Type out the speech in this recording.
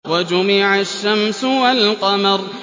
وَجُمِعَ الشَّمْسُ وَالْقَمَرُ